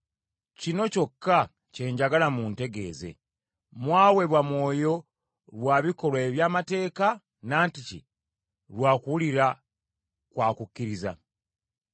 Kino kyokka kye njagala muntegeeze; mwaweebwa Mwoyo lwa bikolwa eby’amateeka, nantiki lwa kuwulira kwa kukkiriza?